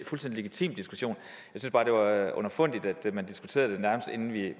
fuldstændig legitim diskussion jeg underfundigt at man diskuterede det inden vi